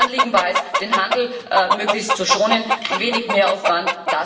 Mein Anliegen war es, den Handel möglichst zu schonen wenig Mehraufwand.